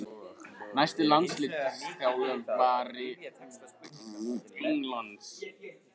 Næsti landsliðsþjálfari Englands?